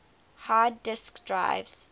hard disk drives